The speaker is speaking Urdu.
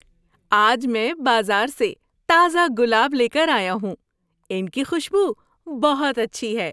آج میں بازار سے تازہ گلاب لے کر آیا ہوں۔ ان کی خوشبو بہت اچھی ہے۔